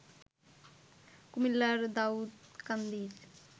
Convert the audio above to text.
কুমিল্লার দাউদকান্দির